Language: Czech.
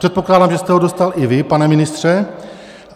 Předpokládám, že jste ho dostal i vy, pane ministře.